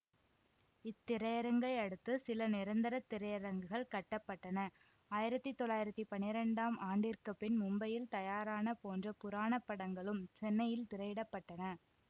இத்திரையரங்கையடுத்து சில நிரந்தர திரையரங்குகள் கட்ட பட்டன ஆயிரத்தி தொள்ளாயிரத்தி பனிரெண்டாம் ஆண்டிற்கு பின் மும்பையில் தயாரான போன்ற புராண படங்களும் சென்னையில் திரையிடப்பட்டன